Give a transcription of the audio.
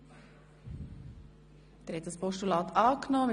Sie haben auch dieses Postulat angenommen.